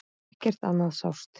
Ekkert annað sást.